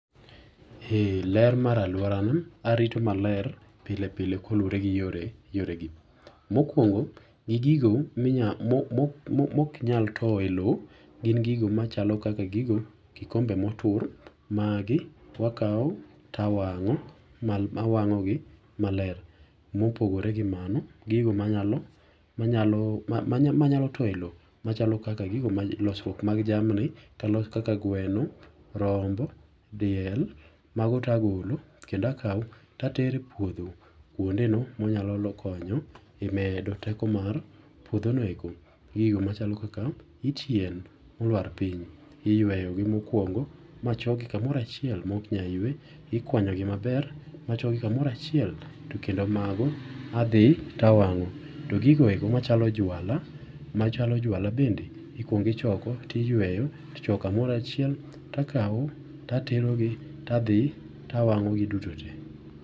Eee ler mara aluorana arito maler pilepile ka oluwore gi yore yore gi. Mokuongo gi gigo ma ok nyal towo e lowo gin gigo machalo kaka gigo kikombe motur magi wakawo tawango' awang’ogi maler , mopore gi mano gigo manyalo towo e lowo machalo losruok mag jamni kaka guweno, rombo, diel, magote agolo kendo akawo kendo atero e puotho kuondeno ma onyalo konyo e medo teko mar puothonoeko gi e yo machalo kaka yit yien moluar piny iyuweyo gi mokuongo machoki kamoro achiel moknyal ywe ikwanyogi maber machokgi kamoro achiel tokendo mago adhi to awango' to gigo eko machalo juala machalo juala bende ikwongi choko tiyweyo tichoko kamora achiel takawo ta aterogi tadhi to awango'gi dutote